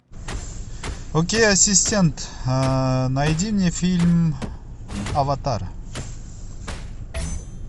окей ассистент найди мне фильм аватар